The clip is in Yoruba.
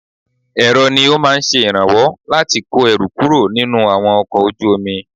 Èrọ ni ó máa ń ṣe ìrànwọ́ láti kọ́ ẹrù kúrò nínú àwọn ọkọ̀ ojú omi.